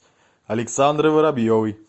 александрой воробьевой